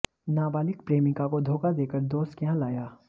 नाबालिग प्रेमिका को धोखा देकर दोस्त के यहां लाया